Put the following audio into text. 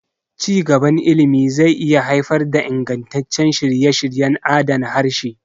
Ci gaban ilimi zai iya haifar da ingantaccen shirye-shiryen adana harshe.